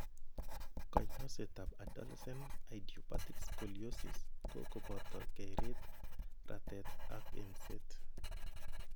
Kanyoisetab adolescent idiopathic scoliosis ko boto kereet, ratet ak eng'set.